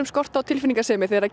skort á tilfinningasemi þegar